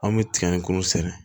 An bɛ tiga in kuru sɛnɛ